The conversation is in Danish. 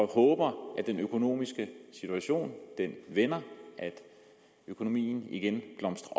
håber at den økonomiske situation vender at økonomien igen blomstrer